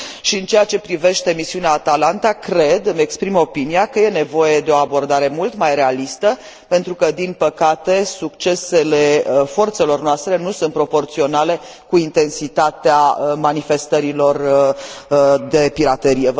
În ceea ce privește misiunea Atalanta, îmi exprim opinia că e nevoie de o abordare mult mai realistă, pentru că, din păcate, succesele forțelor noastre nu sunt proporționale cu intensitatea manifestărilor de piraterie.